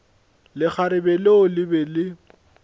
lekgarebe leo le be le